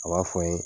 A b'a fɔ n ye